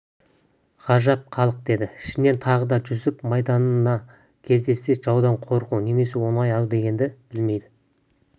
ғажап халық деді ішінен тағы да жүсіп майданда кездессе жаудан қорқу немесе оны аяу дегенді білмейді